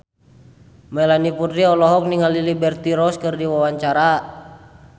Melanie Putri olohok ningali Liberty Ross keur diwawancara